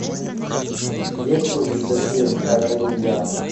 есть ли у тебя фильм это не я